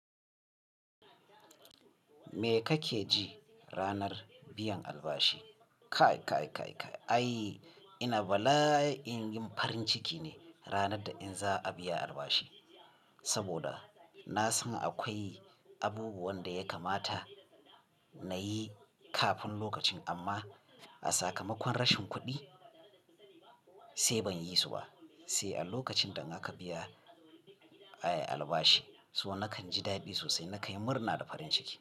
Me kake ji ranar biyan albashi? Kai, kai, kai, kai. Ai ina bala'in yin farin ciki ne ranar da in za a biya albashi. Saboda na san akwai abubuwan da ya kamata na yi kafin lokacin amma a sakamakon rashin kuɗi sai ban yi su ba. Sai a lokacin da aka biya, ai albashi, so nakan ji daɗi sosai, na kanyi murna da farin ciki.